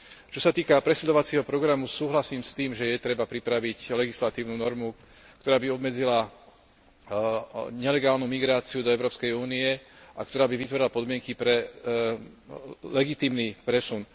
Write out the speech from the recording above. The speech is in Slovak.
Čo sa týka presídľovacieho programu, súhlasím s tým, že je treba pripraviť legislatívnu normu, ktorá by obmedzila nelegálnu migráciu do Európskej únie a ktorá by vytvorila podmienky pre legitímny presun.